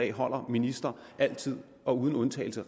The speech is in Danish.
af om ministre altid og uden undtagelse